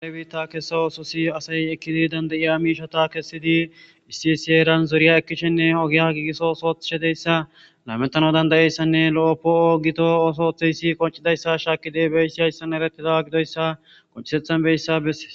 Kare biitta kessa ooso si asay ekkidi dandayiya miishata kessidi issi siyeeran zuriya ekkishshenne ogiya giigisso soothedeyssa laametano dandayeyssanne lo7o poo7o gito oosooththeyssi qoncidayssa shaakidibeyssi hayssan erettida gidoyssa qonchisethan beyssa besses